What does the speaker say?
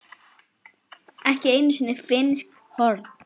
ekki einu sinni finnsk horn.